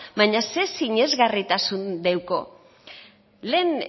baina zer sinesgarritasun deuko lehen